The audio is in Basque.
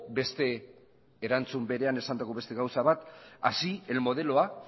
beste erantzun berean esandako beste gauza bat así el modelo a